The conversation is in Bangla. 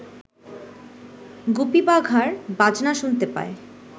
গুপি বাঘার বাজনা শুনতে পায়